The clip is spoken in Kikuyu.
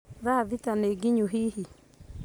Tha thita nĩ nginyu hihi?